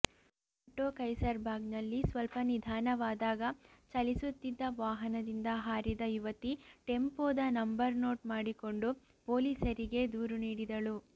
auto ಕೈಸರ್ಬಾಗ್ನಲ್ಲಿ ಸ್ವಲ ನಿಧಾನವಾದಾಗ ಚಲಿಸುತ್ತಿದ್ದ ವಾಹನದಿಂದ ಹಾರಿದ ಯುವತಿ ಟೆಂಪೋದ ನಂಬರ್ ನೋಟ್ ಮಾಡಿಕೊಂಡು ಪೊಲೀಸರಿಗೆ ದೂರು ನೀಡಿದಳು